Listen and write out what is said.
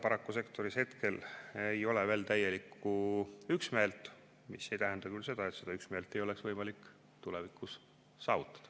Paraku sektoris ei ole veel täielikku üksmeelt, mis ei tähenda küll seda, et seda üksmeelt ei oleks võimalik tulevikus saavutada.